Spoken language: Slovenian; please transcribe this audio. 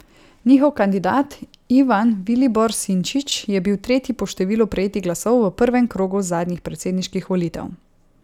Njihov kandidat Ivan Vilibor Sinčić je bil tretji po številu prejetih glasov v prvem krogu zadnjih predsedniških volitev.